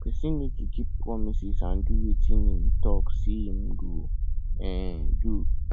person need to keep promises and do wetin im talk sey im go um do